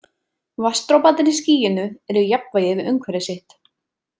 Vatnsdroparnir í skýinu eru í jafnvægi við umhverfi sitt.